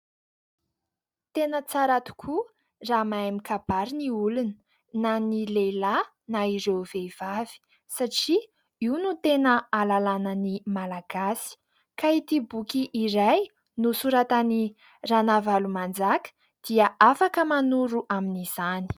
Tena tsara tokoa raha mahay mikabary ny olona, na ny lehilahy na ireo vehivavy satria io no tena ahalalana ny malagasy. Ka ity boky iray nosoratan'i Ranavalomanjaka dia afaka manoro amin'izany.